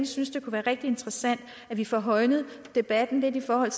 synes det kunne være rigtig interessant at vi får højnet debatten lidt i forhold